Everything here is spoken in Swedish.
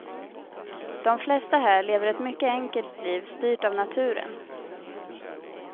De flesta här lever ett mycket enkelt liv styrt av naturen.